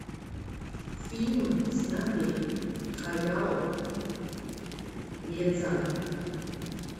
фильмы снятые хаяо миядзаки